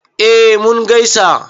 eh mun gaisa